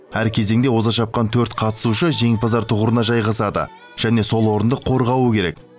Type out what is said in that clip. әр кезеңде оза шапқан төрт қатысушы жеңімпаздар тұғырына жайғасады және сол орынды қорғауы керек